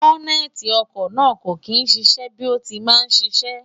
bọ́nẹ́ẹ̀ti ọkọ̀ náà kò kí ń ṣiṣẹ́ bí ó ti máa ń ṣiṣẹ́